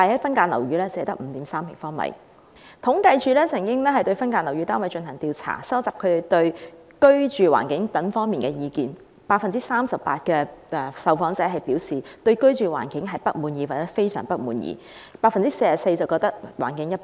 就此，政府統計處曾對分間樓宇單位進行調查，收集租戶對居住環境等方面的意見，結果顯示 38% 的受訪者表示對居住環境不滿意或非常不滿意 ，44% 的受訪者則認為環境一般。